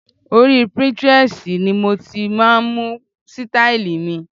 Orí Pinterest ni mo ti máa ń mú sítáílì mi.